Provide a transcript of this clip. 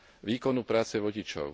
výkonu práce vodičov.